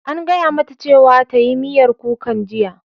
An gaya mata cewa ta yi miyar kukan jiya!